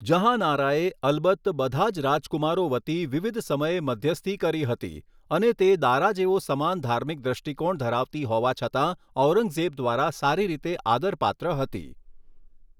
જહાંનારાએ, અલબત્ત, બધા જ રાજકુમારો વતી વિવિધ સમયે મધ્યસ્થી કરી હતી અને તે દારા જેવો સમાન ધાર્મિક દ્રષ્ટિકોણ ધરાવતી હોવા છતાં ઔરંગઝેબ દ્વારા સારી રીતે આદરપાત્ર હતી.